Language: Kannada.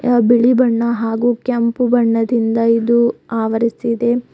ಬಿಳಿ ಬಣ್ಣ ಹಾಗು ಕೆಂಪು ಬಣ್ಣದಿಂಧ ಇದು ಆವರಿಸಿದೆ.